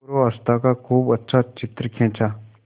पूर्वावस्था का खूब अच्छा चित्र खींचा